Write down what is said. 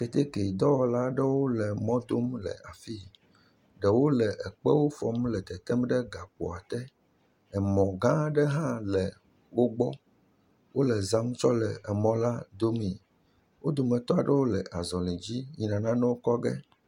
Keteke dɔwɔla aɖewo le dɔ wɔm e afi. Ɖewo le ekpewo fɔm le tetem ɖe gakpoa te. Emɔ̃gã aɖe hã le wogbɔ. Wole zã tsɔ le mɔla domii. Wo dometɔ aɖewo le azɔli dzi yi nanewo kɔ ge.